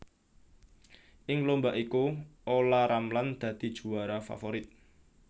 Ing lomba iku Ola Ramlan dadi juwara favorit